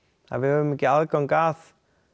að við höfum ekki aðgang að